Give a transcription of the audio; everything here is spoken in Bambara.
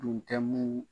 Dun tɛ mun